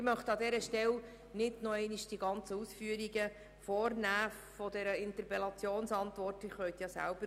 Ich möchte an dieser Stelle nicht noch einmal die ganzen Ausführungen dieser Interpellationsantwort darlegen.